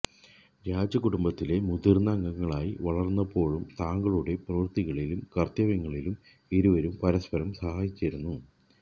രാജകുടുംബത്തിലെ മുതിര്ന്ന അംഗങ്ങളായി വളര്ന്നപ്പോഴും തങ്ങളുടെ പ്രവര്ത്തികളിലും കര്ത്തവ്യങ്ങളിലും ഇരുവരും പരസ്പരം സഹായിച്ചിരുന്നു